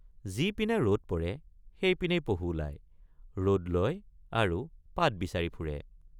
যিপিনে ৰদ পৰে সেইপিনেই পহু ওলায় ৰদ লয় আৰু পাত বিচাৰি ফুৰে।